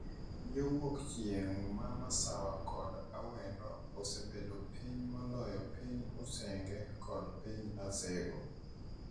Yo wuok chieng’ ma masawa kod Awendo osebedo piny moloyo piny Usenge kod piny Asego,